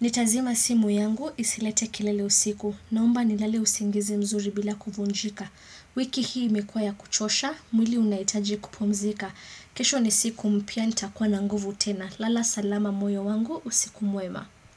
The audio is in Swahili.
Nitazima simu yangu, isilete kelele usiku, naomba nilale usingizi mzuri bila kufunjika. Wiki hii imekuwa ya kuchosha, mwili unaitaji kupumzika kesho ni siku mpya ntakwa na nguvu tena Lala salama moyo wangu, usiku mwema.